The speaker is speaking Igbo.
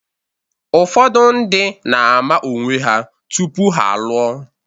Ụfọdụ ndị na-ama onwe ha tupu ha alụọ.